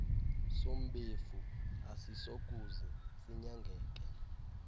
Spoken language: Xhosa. sombefu asisokuze sinyangeke